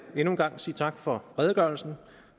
endnu en gang sige tak for redegørelsen